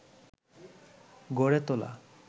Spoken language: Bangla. গড়ে তোলা